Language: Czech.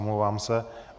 Omlouvám se.